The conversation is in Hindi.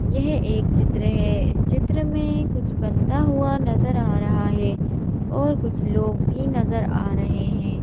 यह एक चित्र है इस चित्र में कुछ बनता हुआ नजर आ रहा है और कुछ लोग भी नजर आ रहे हैं।